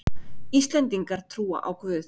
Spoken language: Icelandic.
Íslendingar trúa á Guð